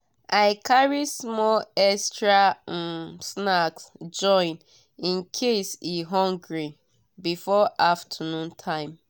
i carry small extra um snack join in case e hungry before afternoon time.